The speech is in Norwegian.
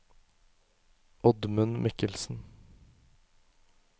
Oddmund Mikkelsen